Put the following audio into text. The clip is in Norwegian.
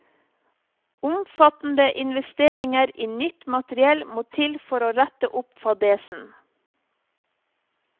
Omfattende investeringer i nytt materiell må til for å rette opp fadesen.